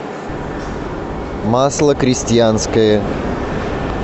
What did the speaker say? масло крестьянское